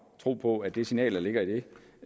tro på at det signal der ligger i